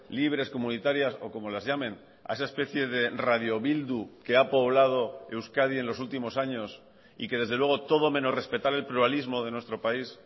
libres comunitarias o como las llamen a esa especie de radiobildu que ha poblado euskadi en los últimos años y que desde luego todo menos respetar el pluralismo de nuestro país